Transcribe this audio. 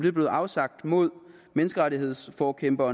er blevet afsagt mod menneskerettighedsforkæmper